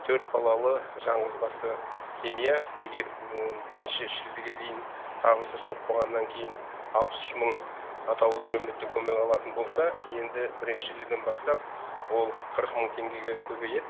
төрт балалы жаңғызбасты семья егер бірінші шілдеге дейін табысы жоқ болғаннан кейін алпыс үш мың атаулы әлеуметтік көмек алатын болса енді бірінші шілдеден бастап ол қырық мың теңгеге көбейеді